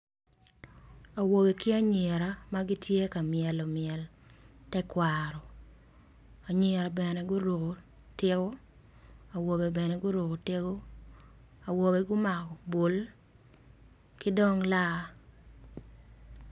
Awobe ki anyira ma gitye ka melo mel me tekwaro anyira bene guruko tiko, awobe bene gurko tiko, awobe gumako tiko ki dong laa.